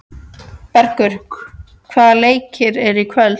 Bergur, hvaða leikir eru í kvöld?